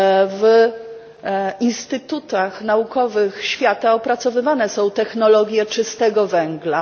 W instytutach naukowych świata opracowywane są technologie czystego węgla.